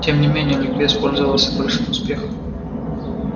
тем не менее ликбез пользовался большим успехом